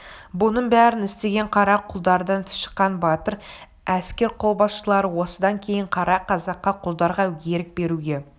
бұның бәрін істеген қара құлдардан шыққан батыр әскер қолбасшылары осыдан кейін қара қазаққа құлдарға ерік беруге